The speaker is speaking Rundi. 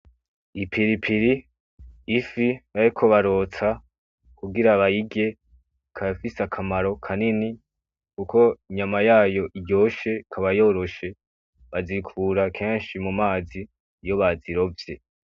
Ipilipiri ifi, ariko barotsa kugira abayige kayafise akamaro kanini, kuko inyama yayo iryoshe kabayoroshe bazikura kenshi mu mazi iyo bazirovye.